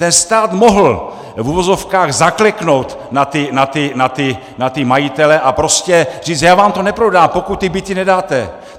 Ten stát mohl, v uvozovkách, zakleknout na ty majitele a prostě říct, já vám to neprodám, pokud ty byty nedáte!